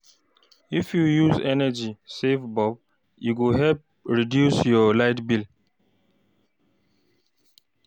If you use energy, saving bulb, e go help reduce your light bill.